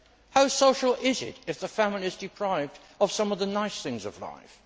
How social is it if the family is deprived of some of the nice things in life?